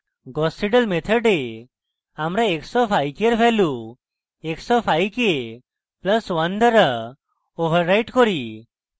gauss seidel method আমরা x of i k in value x of i k + 1 দ্বারা overwrite করি